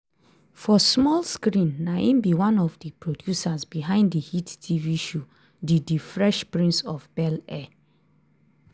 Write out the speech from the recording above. for small screen na im be one of di producers behind di hit tv show di di fresh prince of bel air.